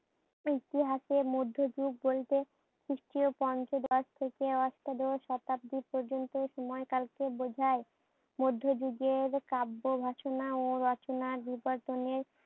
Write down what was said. ইতিহাসে মধ্য যুগ বলত। খ্রিষ্টীয় পঞ্চদশ থেকে অষ্টাদশ শতাব্দী পর্যন্ত সময়কালকে বুঝায়। মধ্য যুগের কাব্য বাসনা ও রচনা বিবর্তনের